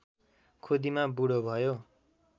खुदिमा बुढो भयो